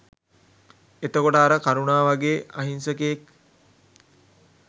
එතකොට අර කරුණා වගේ අහිංසකයෙක්